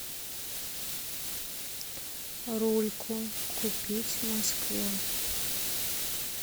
рульку купить в москве